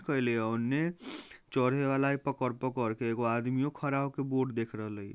करली ओन्ने चौढे वाला पकर-पकर के एगो आदमीओ खरा होके बोर्ड देख रा